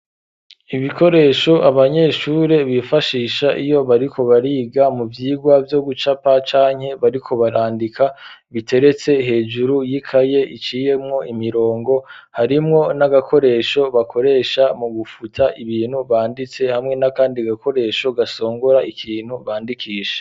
Ibikoresho abanyeshure bifashisha iyo bariko bariga mu vyirwa vyo gucapa canke bariko barandika biteretse hejuru y'ikaye iciyemwo imirongo harimwo n'agakoresho bakoresha mu gufuta ibintu banditse hamwe na kandi gakoresho gasongora ikintu bandikisha